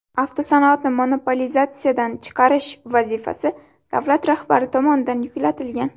Avtosanoatni monopolizatsiyadan chiqarish vazifasi davlat rahbari tomonidan yuklatilgan.